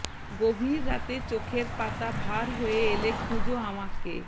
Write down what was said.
গভীর রাতে চোখের পাতা ভার হয়ে এলে খুঁজো আমাকে